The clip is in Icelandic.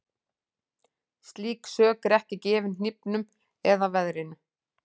Slík sök er ekki gefin hnífnum eða veðrinu.